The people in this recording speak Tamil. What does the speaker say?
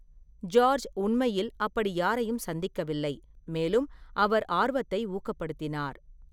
ஜார்ஜ் உண்மையில் அப்படி யாரையும் சந்திக்கவில்லை, மேலும் அவர் ஆர்வத்தை ஊக்கப்படுத்தினார்.